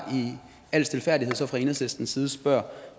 al stilfærdighed fra enhedslistens side spørger